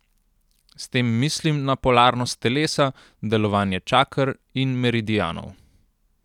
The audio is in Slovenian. S tem mislim na polarnost telesa, delovanje čaker in meridianov.